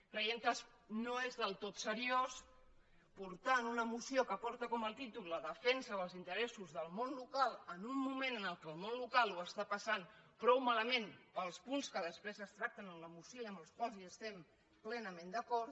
creiem que no és del tot seriós portar en una moció que porta com a títol la defensa dels interessos del món local en un moment en què el món local ho passa prou malament pels punts que després es tracten en la moció i amb els quals estem plenament d’acord